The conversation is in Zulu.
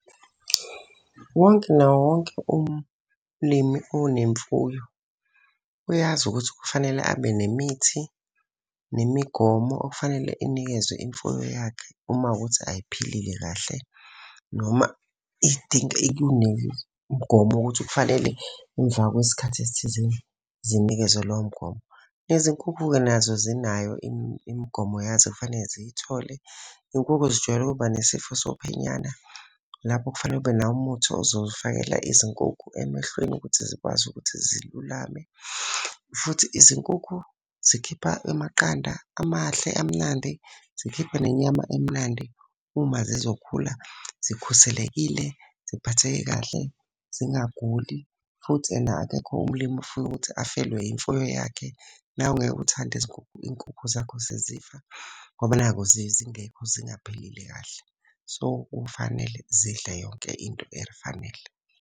Wonke nawo wonke umlimi unemfuyo. Uyazi ukuthi kufanele abe nemithi, nemigomo okufanele inikezwe imfuyo yakhe uma kuwukuthi ayiphilile kahle. Noma iy'dingo wokukuthi kufanele emva kwesikhathi esithizeni zinikezwe lowo mgomo. Nezinkukhu-ke nazo zinayo imigomo yazo ekufanele ziyithole. Iy'nkukhu zijwayele ukuba nesifo sophenyana, lapho kufanele ube nawo umuthi ozowufakela Izinkukhu emehlweni ukuthi zikwazi ukuthi zilulame. Futhi izinkukhu zikhipha amaqanda amahle amnandi, zikhiphe nenyama emnandi uma zizokhula zikhuselekile, ziphatheke kahle, zingaguli. Futhi ena akekho umlimi ofuna ukuthi afelwe imfuyo yakhe, nawe ngeke uthande iy'nkukhu zakho sezifa. Ngoba nakhu zingekho zingaphilile kahle. So, kufanele zidle yonke into elifanele.